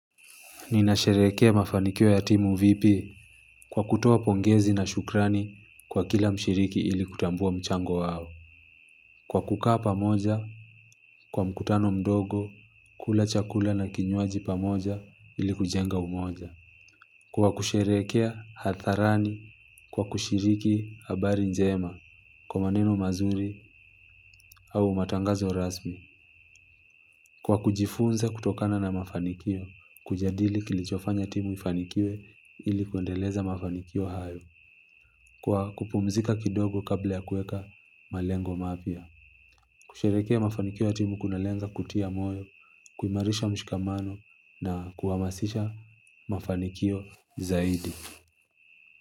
Ninasherehekea mafanikio ya timu vipi kwa kutoa pongezi na shukrani kwa kila mshiriki ili kutambua mchango wao. Kwa kukaa pamoja, kwa mkutano mdogo, kula chakula na kinywaji pamoja ili kujenga umoja. Kwa kusherehekea hatharani, kwa kushiriki habari njema, kwa maneno mazuri au matangazo rasmi. Kwa kujifunza kutokana na mafanikio, kujadili kilichofanya timu ifanikiwe ili kuendeleza mafanikio hayo, kwa kupumzika kidogo kabla ya kueka malengo mapya. Kusherehekea mafanikio ya timu kunalenga kutia moyo, kuimarisha mshikamano na kuhamasisha mafanikio zaidi.